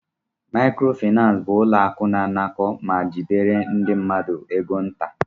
Mayikoro finansi bụ ụlọ akụ na-anakọ ma jidere ndị mmadụ égo nta.